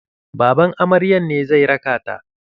Baban amaryan ne zai raka ta.